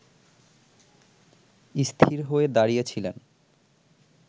স্থির হয়ে দাঁড়িয়েছিলেন